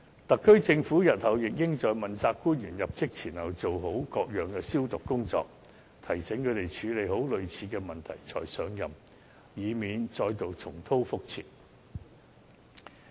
特區政府日後亦應在問責官員入職前做好各樣"消毒"工作，提醒他們要先處理好類似問題才上任，以免再度重蹈覆轍。